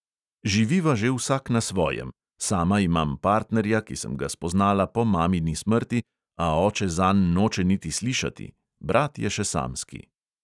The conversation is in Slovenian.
Živiva že vsak na svojem, sama imam partnerja, ki sem ga spoznala po mamini smrti, a oče zanj noče niti slišati, brat je še samski.